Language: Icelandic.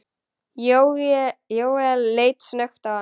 Jóel leit snöggt á hann.